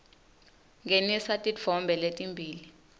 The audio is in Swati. ngenisa titfombe letimbili